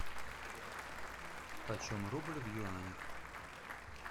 почем рубль в юанях